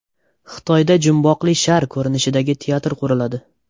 Xitoyda jumboqli shar ko‘rinishidagi teatr quriladi .